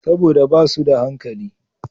Saboda ba su da hankali.